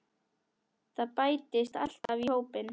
Það bætist alltaf í hópinn.